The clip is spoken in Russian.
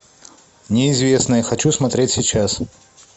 неизвестное хочу смотреть сейчас